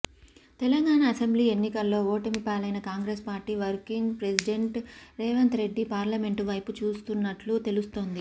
Telangana assembly ఎన్నికల్లో ఓటమి పాలైన Congress party working president Revanth Reddy parliament వైపు చూస్తున్నట్లు తెలుస్తోంది